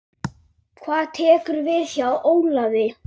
Hvað tekur við hjá Ólafi?